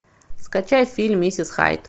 скачай фильм миссис хайд